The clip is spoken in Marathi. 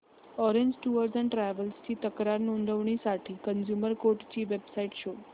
ऑरेंज टूअर्स अँड ट्रॅवल्स ची तक्रार नोंदवण्यासाठी कंझ्युमर कोर्ट ची वेब साइट शोध